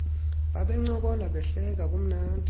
babencokola behleka kumnandi